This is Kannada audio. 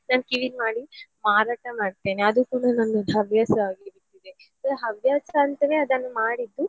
ನಾನ್ ಕಿವಿದ್ದು ಮಾಡಿ ಮಾರಾಟ ಮಾಡ್ತೇನೆ ಅದು ಕೂಡ ನಂದೊಂದು ಹವ್ಯಾಸ ಆಗಿ ಬಿಟ್ಟಿದೆ ಹವ್ಯಾಸ ಅಂತನೇ ಅದನ್ನು ಮಾಡಿದ್ದು.